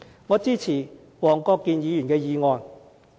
我支持黃國健議員的議案。